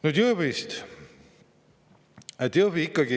Nüüd Jõhvist.